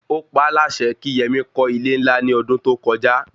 Ó paá láṣẹ kí Yemí kọ́ ilé-ńlá ní ọdún tó kọjá